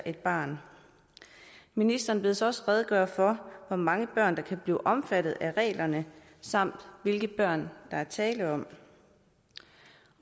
et barn ministeren bedes også redegøre for hvor mange børn der kan blive omfattet af reglerne samt hvilke børn der er tale om